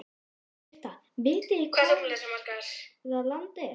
Birta: Vitið þið hvar það land er?